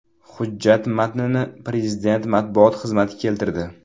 Hujjat matnini Prezident matbuot xizmati keltirdi .